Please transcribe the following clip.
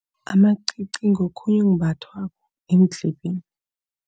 Amacici ngokhunye okumbathwa eendlebeni.